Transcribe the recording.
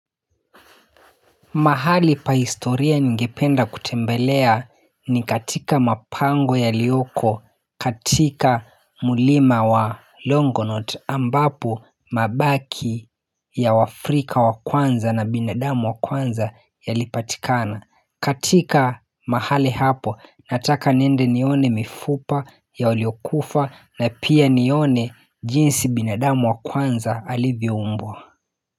Mahali pa historia ningependa kutembelea ni katika mapango yalioko katika mlima wa Longonot ambapo mabaki ya waafrika wa kwanza na binadamu wa kwanza yalipatikana. Katika mahali hapo nataka niende nione mifupa ya waliokufa na pia nione jinsi binadamu wa kwanza alivyoumbwa.